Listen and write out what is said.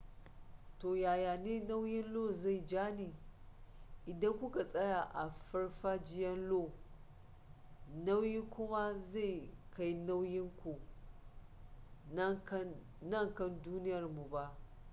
ta yaya ne nauyin lo zai ja ni idan ku ka tsaya a farfajiyan io nauyin ku ba zai kai nauyin ku na kan duniyarmu ba